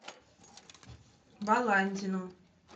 баландину